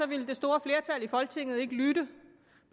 ville det store flertal i folketinget ikke lytte